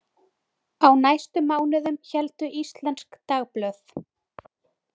Á næstu mánuðum héldu íslensk dagblöð.